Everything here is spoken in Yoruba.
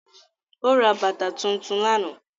Ó ra bàtà tuntun lánàá